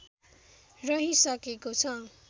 रहिसकेको छ